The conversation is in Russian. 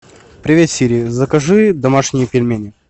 привет сири закажи домашние пельмени